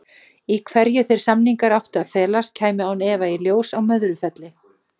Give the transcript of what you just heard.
Í hverju þeir samningar áttu að felast kæmi án efa í ljós á Möðrufelli.